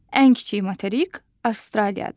Ən kiçik materik Avstraliyadır.